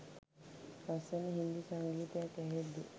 ලස්සන හින්දි සංගීතයක් ඇහෙද්දි